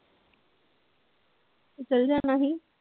ਤੂੰ ਚੱਲੇ ਜਾਣਾ ਸੀ।